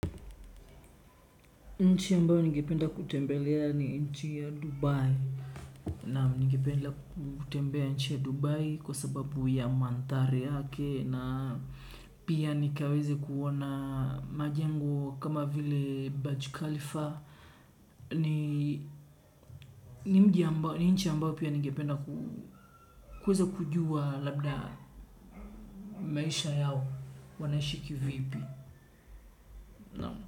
Nchi ambayo ningependa kutembelea ni nchi ya Dubai. Naam, ningependa kutembea nchi ya Dubai kwa sababu ya mandhari yake na pia nikaweze kuona majengo kama vile Baj Khalifa. Ni nchi ambayo pia ningependa kuweza kujua labda maisha yao wanaishi ki vipi.